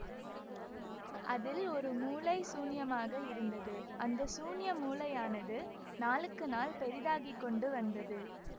அதில் ஒரு மூலை சூன்யமாக இருந்தது அந்த சூன்ய மூலையானது நாளுக்கு நாள் பெரிதாகி கொண்டு வந்தது